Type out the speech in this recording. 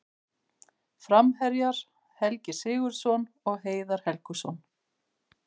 Framherjar: Helgi Sigurðsson og Heiðar Helguson.